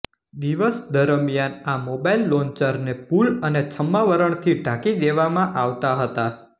દિવસ દરમિયાન આ મોબાઈલ લોન્ચરને પૂલ અને છદ્માવરણથી ઢાંકી દેવામાં આવતા હતા